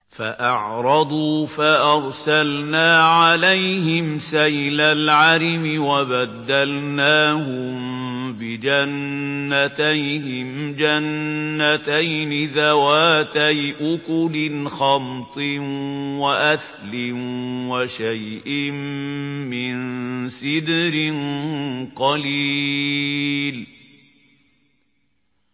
فَأَعْرَضُوا فَأَرْسَلْنَا عَلَيْهِمْ سَيْلَ الْعَرِمِ وَبَدَّلْنَاهُم بِجَنَّتَيْهِمْ جَنَّتَيْنِ ذَوَاتَيْ أُكُلٍ خَمْطٍ وَأَثْلٍ وَشَيْءٍ مِّن سِدْرٍ قَلِيلٍ